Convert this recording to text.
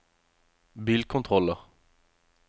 bilkontroller